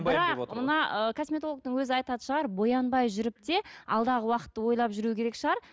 бірақ мына ы косметологтың өзі айтатын шығар боянбай жүріп те алдағы уақытты ойлап жүру керек шығар